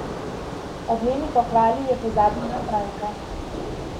Ob njeni pohvali je pozabil na Franka.